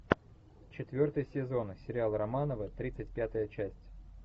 четвертый сезон сериал романовы тридцать пятая часть